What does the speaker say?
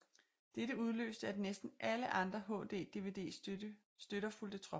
Dette udløste at næsten alle andre HD DVD støtter fulgte trop